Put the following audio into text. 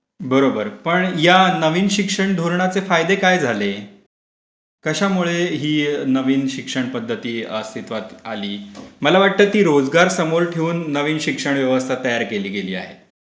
बरोबर पण या नवीन शिक्षण धोरणाचे फायदे काय झाले? कशामुळे ही नवीन शिक्षण पध्दती अस्तीत्वात आली? मला वाटतं ती रोजगार समोर ठेऊन शिक्षण व्यवस्था तयार केली गेली.